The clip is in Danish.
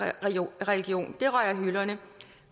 religion det røg af hylderne